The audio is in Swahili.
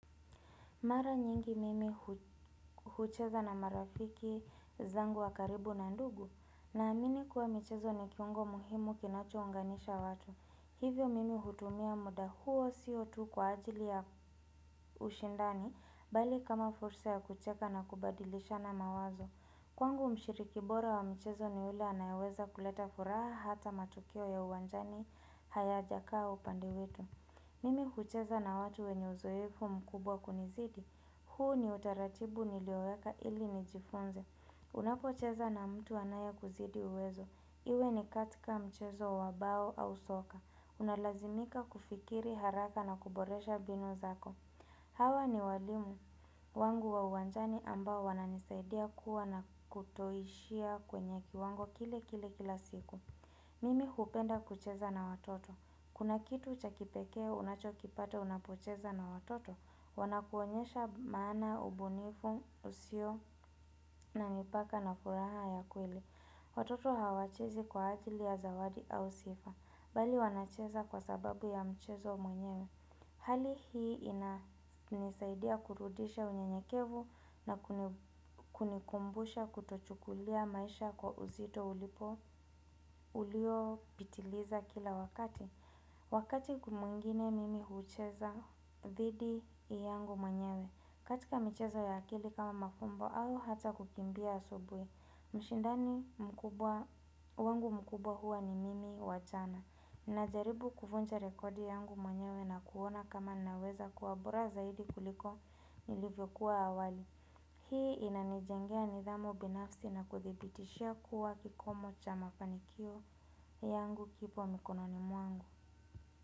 Mara nyingi mimi hucheza na marafiki zangu wa karibu na ndugu Naamini kuwa michezo ni kiungo muhimu kinacho unganisha watu Hivyo mimi hutumia muda huo sio tu kwa ajili ya ushindani bali kama fursa ya kucheka na kubadilishana mawazo Kwangu mshiriki bora wa mchezo ni ule anayeweza kuleta furaha hata matukio ya uwanjani hayajakaa upande wetu Mimi hucheza na watu wenye uzoefu mkubwa kunizidi huu ni utaratibu nilioweka ili nijifunze Unapocheza na mtu anayekuzidi uwezo iwe ni katika mchezo wa bao au soka unalazimika kufikiri haraka na kuboresha mbinu zako Hawa ni walimu wangu wa uwanjani ambao wananisaidia kuwa na kutoishia kwenye kiwango kile kile kila siku Mimi hupenda kucheza na watoto. Kuna kitu cha kipekee unachokipata unapocheza na watoto, wanakuonyesha maana ubunifu usio na mipaka na furaha ya kweli Watoto hawachezi kwa ajili ya zawadi au sifa bali wanacheza kwa sababu ya mchezo mwenyewe Hali hii inisaidia kurudisha unyenyekevu na kunikumbusha kutochukulia maisha kwa uzito ulipo uliopitiliza kila wakati Wakati mwingine mimi hucheza dhidi yangu mwenyewe. Katika michezo ya akili kama mafumbo au hata kukimbia asubuhi mshindani mkubwa wangu mkubwa huwa ni mimi wa chana. Ninajaribu kuvuja rekodi yangu mwenyewe na kuona kama naweza kuwa bora zaidi kuliko nilivyokuwa awali Hii inanijengea nidhamu binafsi na kudhibitishia kuwa kikomo cha mafanikio yangu kipo mikononi mwangu.